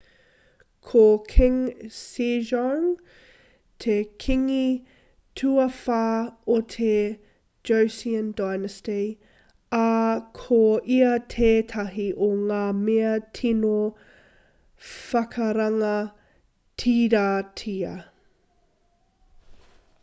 ko king sejong te kīngi tuawhā o te joseon dynasty ā ko ia tētahi o ngā mea tino whakarangatiratia